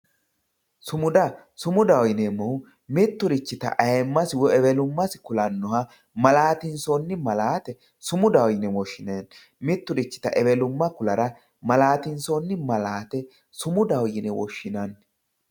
sumuda sumudaho yineemohu mitturichita aayiimas woy ewelummasi kulannoha malaattinssoonni malaate sumudaho yine woshshinanni mitturichita ewelumma kulara malaatinsoonni malaate sumudsho yine woshshinanni